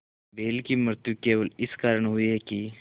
बैल की मृत्यु केवल इस कारण हुई कि